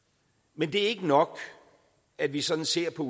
men det er ikke nok at vi sådan ser på